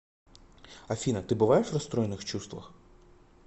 афина ты бываешь в расстроенных чувствах